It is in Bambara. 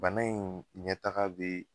Bana in ɲɛtaga be